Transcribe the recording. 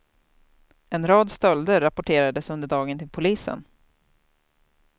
En rad stölder rapporterades under dagen till polisen.